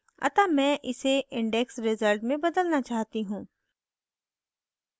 अतः मैं इसे index रिजल्ट में बदलना चाहती हूँ